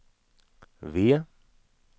V